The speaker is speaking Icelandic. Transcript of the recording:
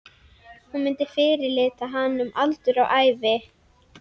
Hún myndi fyrirlíta hann um aldur og ævi!